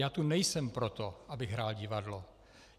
Já tu nejsem proto, abych hrál divadlo!